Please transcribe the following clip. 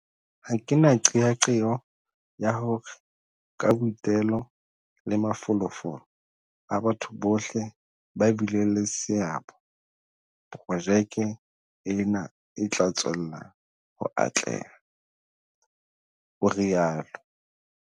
"Ha ke na qeaqeo ya hore ka boitelo le mafolofolo a batho bohle ba bileng le seabo, projeke ena e tla tswella ho atleha," o rialo.